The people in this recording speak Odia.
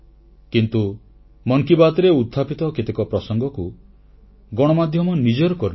କିନ୍ତୁ ମନ୍ କି ବାତ୍ରେ ଉତ୍ଥାପିତ କେତେକ ପ୍ରସଙ୍ଗକୁ ଗଣମାଧ୍ୟମ ନିଜର କରିନେଇଛି